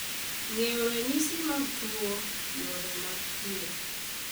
Ng’eyo ranyisi mag tuwo, yore mag thieth,